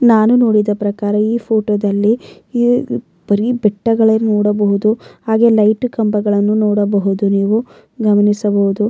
ನಾನು ನೋಡಿದ ಪ್ರಕಾರ ಈ ಫೋಟೋದಲ್ಲಿ ಬರಿ ಬೆಟ್ಟಗಳೇ ನೋಡಬಹುದು ಹಾಗೆ ಲೈಟ್ ಕಂಬಗಳನ್ನು ನೋಡಬಹುದು ನೀವು ಗಮನಿಸಬಹುದು.